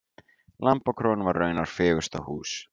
Lambakróin var raunar fegursta hús.